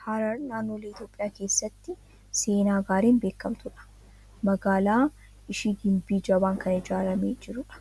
Harar naannolee Itoophiyaa keessatti seenaa gaariin beekamtu dha. Magaalaan ishii gimbii jabaan kan ijaaramee jiru dha.